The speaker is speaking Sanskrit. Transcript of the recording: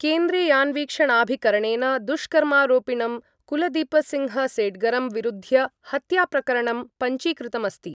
केन्द्रीयान्वीक्षणाभिकरणेन दुष्कर्मारोपिणं कुलदीपसिंहसेड्गरं विरुध्य हत्याप्रकरणं पञ्जीकृतमस्ति।